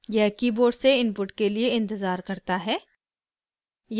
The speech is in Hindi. यह कीबोर्ड से इनपुट के लिए इंतज़ार करता है